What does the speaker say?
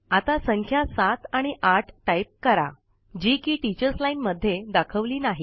आता संख्या ७ आणि ८ टाईप करा जी कि टीचर्स लाईन मध्ये दाखवली नाही